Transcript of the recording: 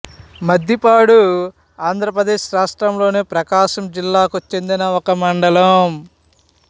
మద్దిపాడు ఆంధ్ర ప్రదేశ్ రాష్ట్రములోని ప్రకాశం జిల్లాకు చెందిన ఒక మండలం